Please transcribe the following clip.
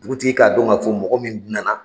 Dugutigi k'a don ma, fɔ mɔgɔ minnu nana